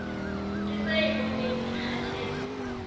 ke sa eboneng ke kgathetse